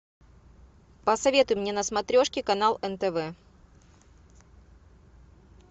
посоветуй мне на смотрешке канал нтв